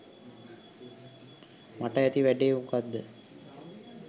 මට ඇති වැඩේ මොකක්‌ද?